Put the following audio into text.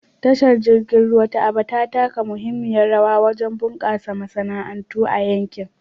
Tashar jirgin ruwa ta Aba ta taka muhimmiyar rawa wajen bunƙasa masana'antu a yankin.